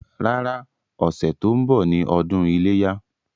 Rárá, ọ̀sẹ̀ tó ń bọ̀ ni ọdún iléyá.